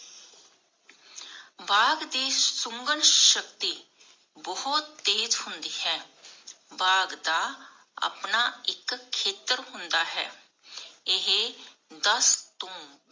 ਬਾਗ਼ ਦੀ ਸ਼ੁਗਣ ਸ਼ਕਤੀ ਬਹੁਤ ਤੇਜ ਹੁੰਦੀ ਹੈ ਬਾਗ਼ ਦਾ ਆਪਣਾ ਇਕ ਖੇਤਰ ਹੁੰਦਾ ਹੈ ਏਹੇ ਦਾਸ ਤੋਂ